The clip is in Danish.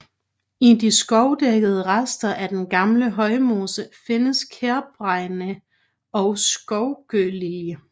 I de skovdækkede rester af den gamle højmose findes kærbregne og skovgøgelilje